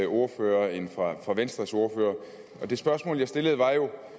ordfører end fra venstres ordfører det spørgsmål jeg stillede var jo